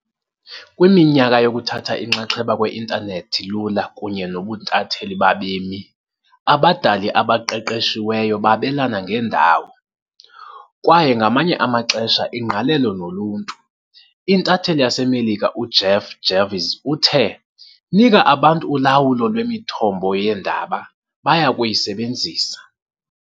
Kwiminyaka yokuthatha inxaxheba kwe-intanethi lula kunye nobuntatheli babemi, abadali abaqeqeshiweyo babelana ngendawo, kwaye ngamanye amaxesha ingqalelo noluntu. Intatheli yaseMelika uJeff Jarvis uthe, "Nika abantu ulawulo lwemithombo yeendaba, baya kuyisebenzisa.